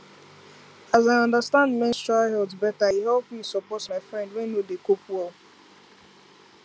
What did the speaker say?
as i understand menstrual health better e help me support my friend wey no dey cope well